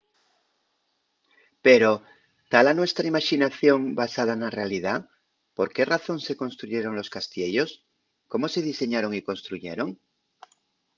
pero ¿ta la nuestra imaxinación basada na realidá? ¿por qué razón se construyeron los castiellos? ¿cómo se diseñaron y construyeron?